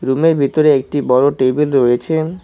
রুমের ভিতরে একটি বড় টেবিল রয়েছে।